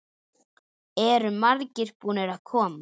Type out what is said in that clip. Eru margir búnir að koma?